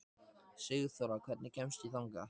Sigþóra, hvernig kemst ég þangað?